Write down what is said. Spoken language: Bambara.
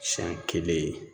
Siyɛn kelen ye